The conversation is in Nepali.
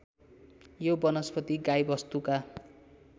यो वनस्पति गाईवस्तुका